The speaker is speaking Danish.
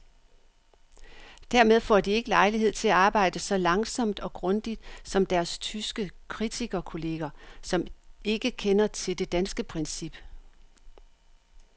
Dermed får de ikke lejlighed til at arbejde så langsomt og grundigt som deres tyske kritikerkolleger, som ikke kender til det danske princip.